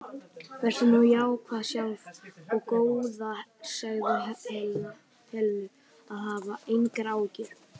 Vertu nú jákvæð sjálf og góða segðu Helenu að hafa engar áhyggjur.